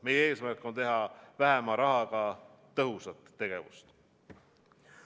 Meie eesmärk on teha vähema rahaga tõhusat tegevust.